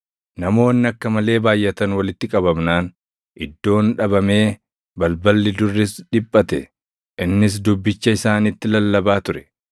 Namoonni akka malee baayʼatan walitti qabamnaan iddoon dhabamee balballi durris dhiphate; innis dubbicha isaanitti lallabaa ture.